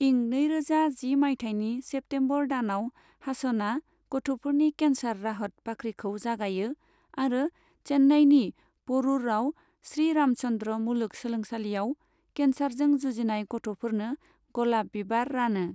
इं नैरोजा जि मायथाइनि सेप्टेमबर दानाव हासनआ गथ'फोरनि केनसार राहत बाख्रिखौ जागायो आरो चेन्नइनि प'रूरआव श्री रामचंद्र मुलुग सोलोंसालियाव केनसारजों जुजिनाय गथ'फोरनो गलाप बिबार रानो।